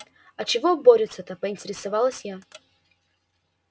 а чего борются-то поинтересовалась я